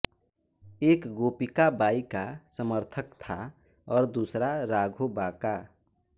एक गोपिकाबाई का समर्थक था और दूसरा राघोबा का